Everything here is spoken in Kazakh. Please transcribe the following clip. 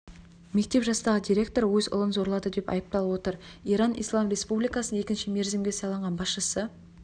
жастағы мектеп директоры өз ұлын зорлады деп айыпталып отыр иран ислам республикасының екінші мерзімге сайланған басшысы